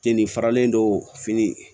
Kenin faralen do fini